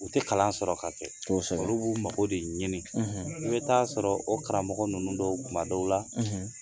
U tɛ kalan sɔrɔ ka kɛ olu b'u mago de ɲini, i bɛ ta'a sɔrɔ o karamɔgɔ ninnu dɔw ma dɔw la